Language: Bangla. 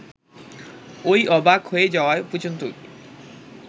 ওই অবাক হয়ে যাওয়া পর্যন্তই